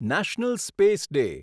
national space day